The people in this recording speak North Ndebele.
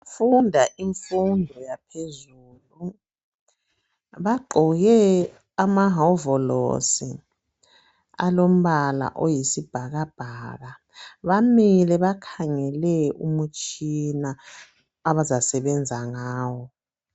Abafundi abafunda imfundo yaphezulu bagqoke amahovolosi alombala oyisibhakabhaka bamile bakhangele umutshina abazasebenza ngawo.